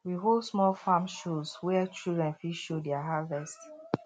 we hold small farm shows where children fit show their harvest